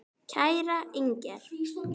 Kæra Inger.